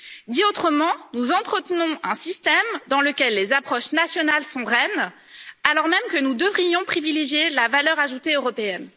Dit autrement, nous entretenons un système dans lequel les approches nationales sont reines, alors même que nous devrions privilégier la valeur ajoutée européenne.